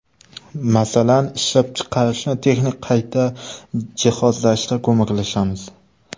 Masalan, ishlab chiqarishni texnik qayta jihozlashda ko‘maklashamiz.